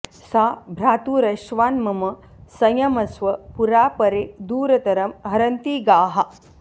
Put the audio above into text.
सा भ्रातुरश्वान्मम संयमस्व पुरा परे दूरतरं हरन्ति गाः